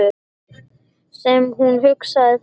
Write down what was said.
Sem hún hugsaði þannig.